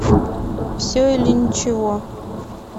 все или ничего